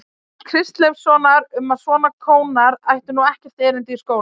Kristleifssonar um að svona kónar ættu nú ekkert erindi í skóla.